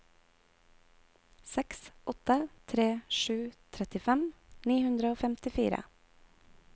seks åtte tre sju trettifem ni hundre og femtifire